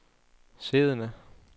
siddende